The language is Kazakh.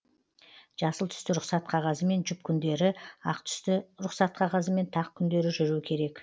жасыл түсті рұқсат қағазымен жұп күндері ақ түсті рұқсат қағазымен тақ күндері жүру керек